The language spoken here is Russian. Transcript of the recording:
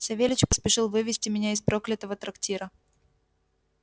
савельич поспешил вывезти меня из проклятого трактира